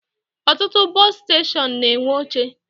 Ọtụtụ bọsụ steshọnụ na-enwe oche